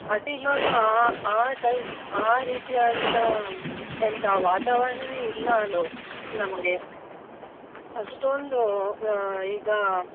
ಅದ್ ಇವಾಗ ಆ ಆ type ಆ ರೀತಿಯಾದಂತಹ ಎಂತ ವಾತಾವರಣನೆ ಇಲ್ಲ ನಮ್ಗೆ ಅಷ್ಟೊಂದು ಅಹ್ ಈಗ